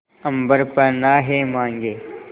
अम्बर पनाहे मांगे